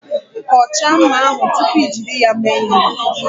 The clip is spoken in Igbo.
Kọchaa mma ahụ tupu i jiri ya mee ihe.